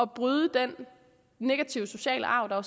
bryde den negative sociale arv der